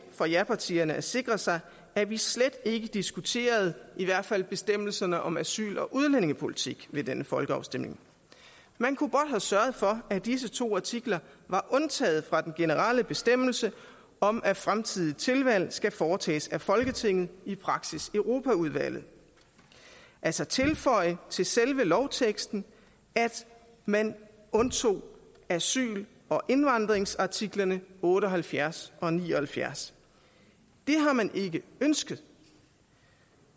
for japartierne at sikre sig at vi slet ikke diskuterede i hvert fald bestemmelserne om asyl og udlændingepolitik ved denne folkeafstemning man kunne godt have sørget for at disse to artikler var undtaget fra den generelle bestemmelse om at fremtidige tilvalg skal foretages af folketinget i praksis europaudvalget altså tilføje til selve lovteksten at man undtog asyl og indvandringsartiklerne otte og halvfjerds og ni og halvfjerds det har man ikke ønsket